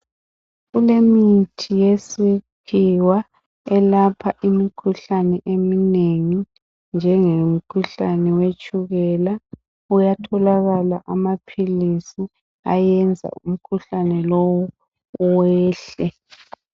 Kulemithi yesi khiwa elapha imikhuhlane eminengi njenge mkhuhlane wetshukela uyatholakala amaphilisi ayenza umkhuhlane lo wehle